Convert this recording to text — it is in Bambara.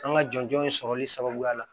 An ka jɔn jɔn in sɔrɔli sababuya la